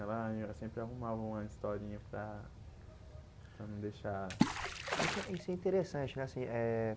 Ela sempre arrumava uma historinha para para não deixar... Isso é isso é interessante né? Assim eh